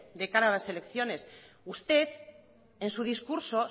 de cara a las elecciones usted en su discurso